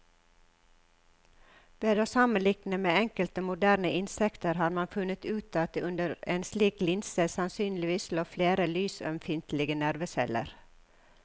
Ved å sammenligne med enkelte moderne insekter har man funnet ut at det under en slik linse sannsynligvis lå flere lysømfintlige nerveceller.